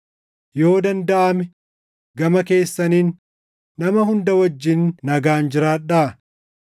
Yoo dandaʼame, gama keessaniin nama hunda wajjin nagaan jiraadhaa.